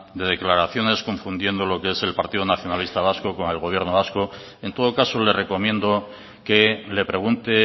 de declaraciones confundiendo lo que es el partido nacionalista vasco con el gobierno vasco en todo caso le recomiendo que le pregunte